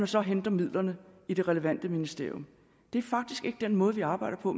så henter midlerne i det relevante ministerium det er faktisk ikke den måde vi arbejder på